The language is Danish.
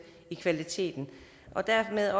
af kvaliteten og dermed